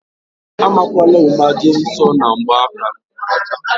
A makwana ama jee nsọ na ngba aka m